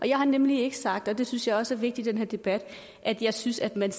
jeg har nemlig ikke sagt og det synes jeg også er vigtigt i den her debat at jeg synes at man